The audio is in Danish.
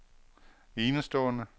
enestående